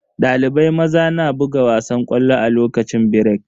Dalibai maza na buga wasan ƙwallo a lokacin birek.